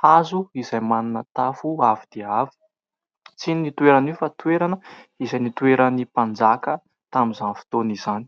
hazo izay manana tafo avo dia avo, tsy inona io toerana io fa toerana izay nitoeran'ny mpanjaka tamin'izany fotoana izany.